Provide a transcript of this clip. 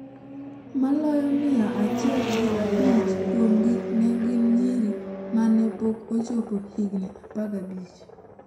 Maloyo mia achielgi abich kuomgi ne gin nyiri ma ne pok ochopo higni 15.